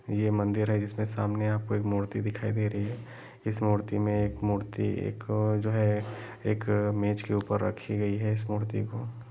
ये मंदिर है जिसके सामने आपको एक मूर्ति दिखाई दे रही हैं इस मूर्ति में एक मूर्ति एक जो हैं एक मेज के ऊपर रखी गई हैं। इस मूर्ति को--